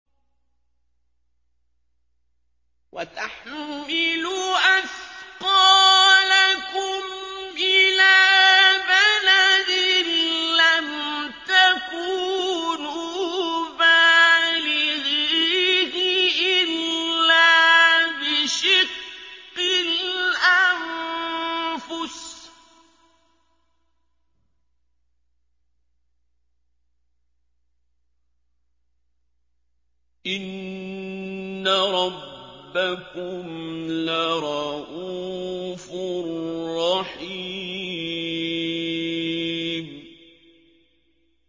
وَتَحْمِلُ أَثْقَالَكُمْ إِلَىٰ بَلَدٍ لَّمْ تَكُونُوا بَالِغِيهِ إِلَّا بِشِقِّ الْأَنفُسِ ۚ إِنَّ رَبَّكُمْ لَرَءُوفٌ رَّحِيمٌ